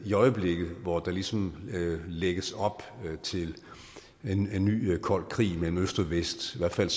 i øjeblikket hvor der ligesom lægges op til en ny kold krig mellem øst og vest i hvert fald